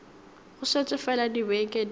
go šetše fela dibeke di